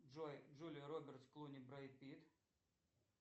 джой джулия робертс клуни бред питт